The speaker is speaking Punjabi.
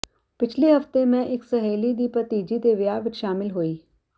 ਪਿਛਲੇ ਹਫਤੇ ਮੈਂ ਇੱਕ ਸਹੇਲੀ ਦੀ ਭਤੀਜੀ ਦੇ ਵਿਆਹ ਵਿੱਚ ਸ਼ਾਮਿਲ ਹੋਈ